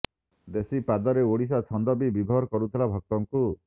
ଦେଶୀ ପାଦରେ ଓଡ଼ିଶୀ ଛନ୍ଦ ବି ବିଭୋର କରୁଥିଲା ଭକ୍ତଙ୍କୁ